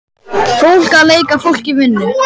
Fólk að leika fólk í vinnu.